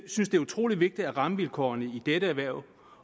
synes det er utrolig vigtigt at rammevilkårene i dette erhverv